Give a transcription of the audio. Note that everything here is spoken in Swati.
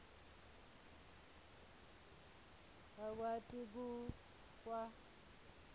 bakwati ku kwa